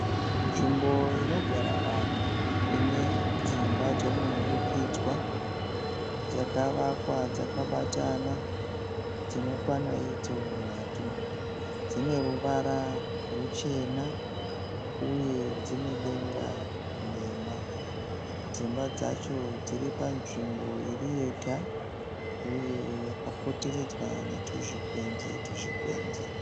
Nzvimbo inogara vanhu ine dzimba dzomunhurikidzwa dzakavakwa dzakabatana dzinokwana idzo nhatu. Dzine ruvara ruchena uye dzine denga nhema. Dzimba dzacho dziri panzvimbo iri yega uye yakapoteredzwa netuzvigwenzi tuzvigwenzi.